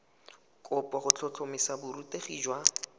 kopo go tlhotlhomisa borutegi jwa